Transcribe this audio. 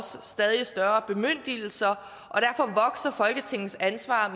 stadig større bemyndigelser og folketingets ansvar